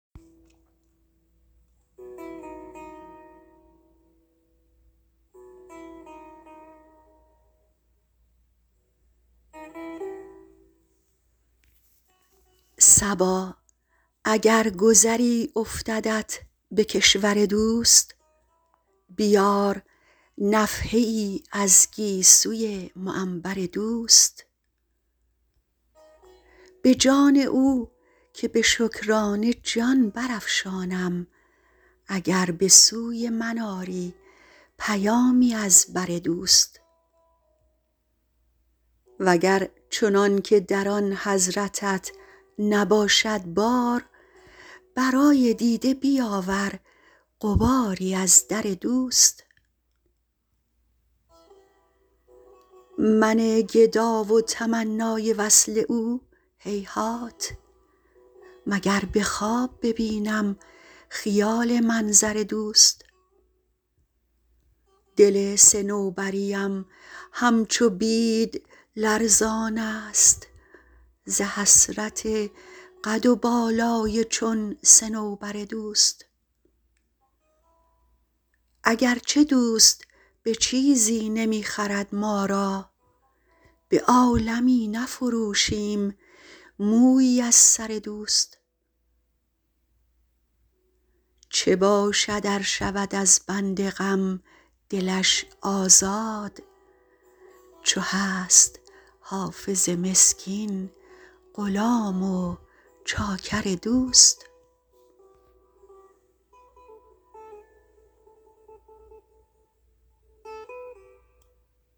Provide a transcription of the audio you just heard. صبا اگر گذری افتدت به کشور دوست بیار نفحه ای از گیسوی معنبر دوست به جان او که به شکرانه جان برافشانم اگر به سوی من آری پیامی از بر دوست و گر چنان که در آن حضرتت نباشد بار برای دیده بیاور غباری از در دوست من گدا و تمنای وصل او هیهات مگر به خواب ببینم خیال منظر دوست دل صنوبری ام همچو بید لرزان است ز حسرت قد و بالای چون صنوبر دوست اگر چه دوست به چیزی نمی خرد ما را به عالمی نفروشیم مویی از سر دوست چه باشد ار شود از بند غم دلش آزاد چو هست حافظ مسکین غلام و چاکر دوست